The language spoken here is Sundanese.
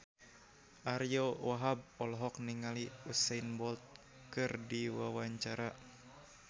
Ariyo Wahab olohok ningali Usain Bolt keur diwawancara